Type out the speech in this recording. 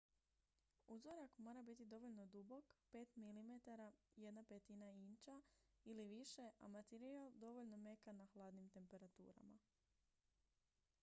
uzorak mora biti dovoljno dubok 5 mm 1/5 inča ili više a materijal dovoljno mekan na hladnim temperaturama